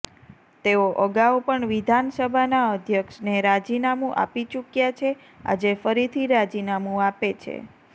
તેઓ અગાઉ પણ વિધાનસબાના અધ્યક્ષને રાજીનામુ આપી ચૂક્યા છે આજે ફરીથી રાજીનામુ આપે છે